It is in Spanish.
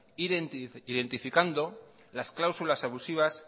identificando las cláusulas abusivas